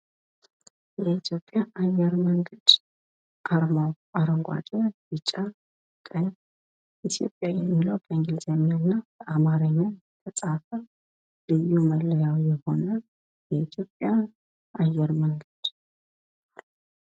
የኢትዮጵያ አየር መንገድ አርማው አረጓዴ ቢጫ ቀይ ኢትዮጵያ የሚለው በእንግሊዘኛና በአማርኛ የተፃፈ ልዩ መለያው የሆነ የኢትዮጵያ አየር መንገድ።